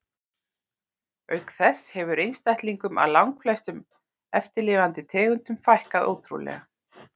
Auk þess hefur einstaklingum af langflestum eftirlifandi tegundum fækkað ótrúlega.